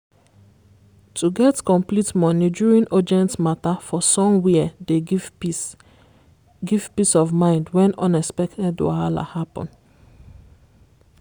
to get complete money during urgent matter for somwhere dey give peace give peace of mind when unexpected wahala happen.